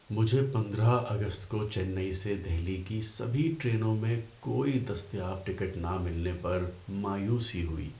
مجھے پندرہ اگست کو چنئی سے دہلی کی سبھی ٹرینوں میں کوئی دستیاب ٹکٹ نہ ملنے پر مایوسی ہوئی۔